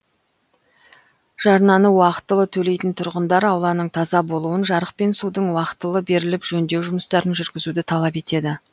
жарнаны уақытылы төлейтін тұрғындар ауланың таза болуын жарық пен судың уақытылы беріліп жөндеу жұмыстарын жүргізуді талап етеді